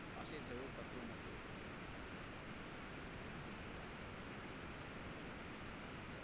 પાસે જવું પડતું નથી.